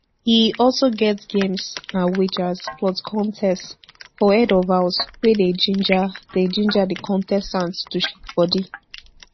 e also get games and wagers plus contest for head of house wey dey ginger dey ginger di contestants to shake bodi